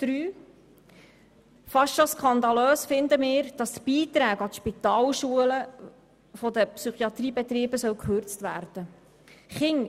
Wir finden es fast skandalös, dass die Beiträge an die Spitalschulen der Psychiatriebetriebe gekürzt werden sollen.